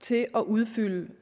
til at udfylde